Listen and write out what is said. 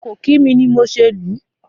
Kò kí mi ni mo ṣe lù ú.